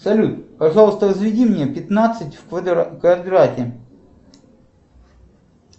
салют пожалуйста возведи мне пятнадцать в квадрате